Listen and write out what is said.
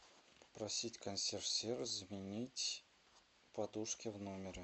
попросить консьерж сервис заменить подушки в номере